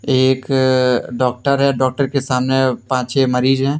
एक डॉक्टर है डॉक्टर के सामने पांच छे मरीज है।